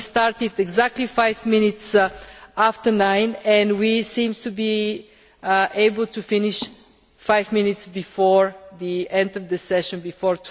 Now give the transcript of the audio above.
We started exactly five minutes after nine and we seem to be able to finish five minutes before the end of the session, before